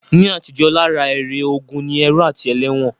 Ní àtijó, lára èrè ogun ni ẹrú àti ẹlẹ́wọ̀n